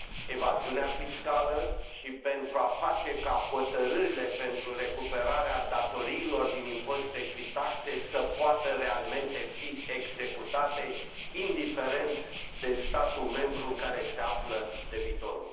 evaziunea fiscală și pentru a face ca hotărârile pentru recuperarea datoriilor din impozite și taxe să poată realmente fi executate, indiferent de statul membru în care se află debitorul.